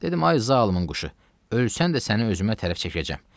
Dedim ay zalımın quşu, ölsən də səni özümə tərəf çəkəcəm.